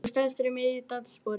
Hún stansar í miðju dansspori.